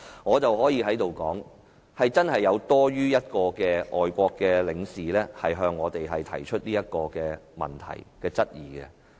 "我可以在這裏說，真的有多於一位外國領事向我們提出這項質疑。